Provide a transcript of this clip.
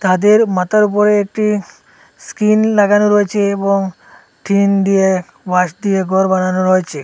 তাদের মাথার ওপরে একটি স্ক্রিন লাগানো রয়েছে এবং টিন দিয়ে বাঁশ দিয়ে ঘর বানানো রয়েছে।